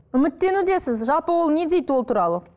үміттенудесіз жалпы ол не дейді ол туралы